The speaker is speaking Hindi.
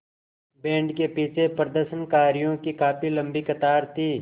बैंड के पीछे प्रदर्शनकारियों की काफ़ी लम्बी कतार थी